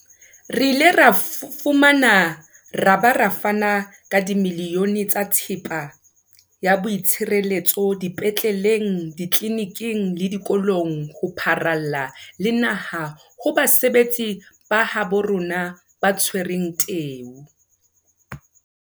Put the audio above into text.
Re ile ra fumana ra ba ra fana ka dimilione tsa thepa ya boitshireletso dipetleleng, ditleliniking le dikolong ho pharalla le naha ho basebetsi ba habo rona ba tshwereng teu.